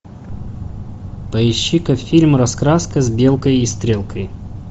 поищи ка фильм раскраска с белкой и стрелкой